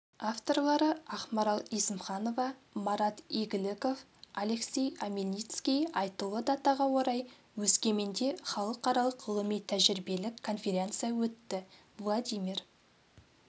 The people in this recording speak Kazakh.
авторлары ақмарал есімханова марат игіліков алексей омельницкий айтулы датаға орай өскеменде халықаралық ғылыми-тәжірибелік конференция өтті владимир